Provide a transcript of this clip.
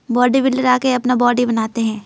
Body builder आके अपना body बनाते हैं।